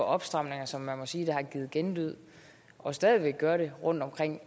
opstramninger som man må sige har givet genlyd og stadig væk gør det rundtomkring